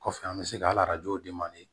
Kɔfɛ an bɛ se ka